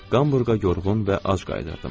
Hamburqa yorğun və ac qayıdırdım.